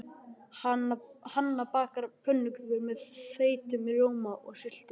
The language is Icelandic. Hanna bakar pönnukökur með þeyttum rjóma og sultu.